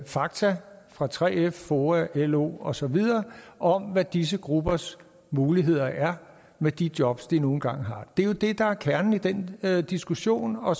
fakta fra 3f foa lo og så videre om hvad disse gruppers muligheder er med de jobs de nu engang har det er jo det der er kernen i den diskussion og